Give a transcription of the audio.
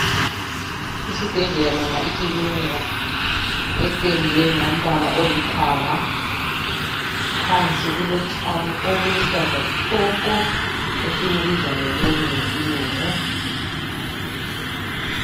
Isibhedlela noma ikilinika ependwe ngombala olithanga phansi kulotshani obuluhlaza tshoko esibubiza ngeloni ngesilungu.